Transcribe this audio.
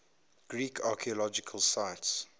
greek archaeological sites